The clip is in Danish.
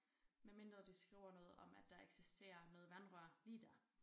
Medmindre de skriver noget om at der eksisterer noget vandrør lige dér